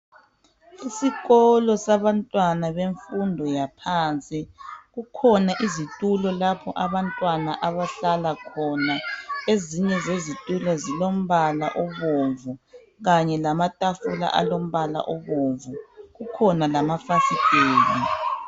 Isikolo sabantwana bemfundo yaphansi kukhona izitulo lapho abantwana abahlala khona ezinye zezitulo zilombala obomvu kanye lamatafula alombala obomvu kukhona lama fasiteli.